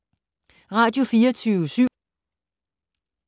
Radio24syv